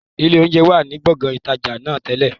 Ilé oúnjẹ wá ní gbongan ìtajà náà tẹ́lẹ̀